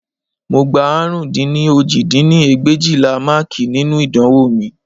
Mo gbà àrún dín ní òjì dín ní ẹgbẹ̀éjìlá máàkì nínú ìdánwò mi